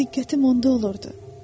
Diqqətim onda olurdu.